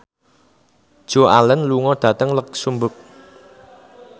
Joan Allen lunga dhateng luxemburg